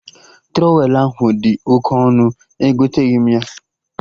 Trọwelụ ahụ dị oke ọnụ, egoteghi m ya